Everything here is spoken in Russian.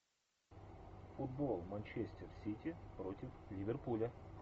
футбол манчестер сити против ливерпуля